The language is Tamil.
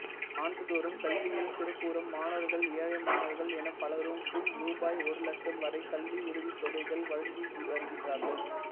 ஆண்டுதோறும் கல்வியில் சிறப்புறும் மாணவர்கள்ஏழை மாணவர்கள் எனப் பலருக்கும் ரூபாய் ஒரு இலட்சம் வரை கல்விஉதவித்தொகைகள் வழங்கி வருகின்றார்கள்